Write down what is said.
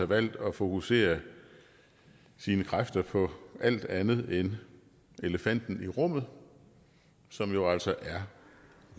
valgt at fokusere sine kræfter på alt andet end elefanten i rummet som jo altså er